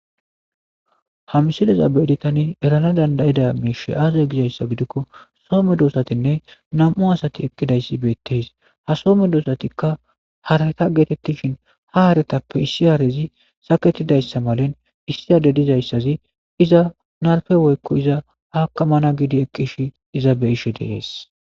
Ha missilaza beidi tani errana dandaiday mishshey aaze giizayssa giidikko soho meddosatinne nam'u addeti eqqidayssi bettes ha soho meddosatikka haaretta gettetishin ha harrettappe issi haarrezi sakettidayssa malin issi adde diizayssazi iiza narppe woykko iiza akkamana giidi eqqishe iiza beishe de'ess.